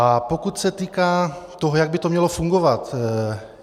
A pokud se týká toho, jak by to mělo fungovat.